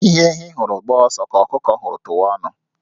Ihe ehi hụrụ gbaa ọsọ, ka ọkụkọ hụrụ tụwa ọnụ